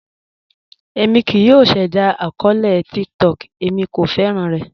Èmi kíì yọ̀ ṣẹda akọọlẹ̀ TikTok, èmi kò fẹ́ran rẹ̀.